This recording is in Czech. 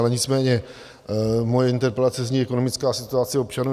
Ale nicméně moje interpelace zní Ekonomická situace občanů.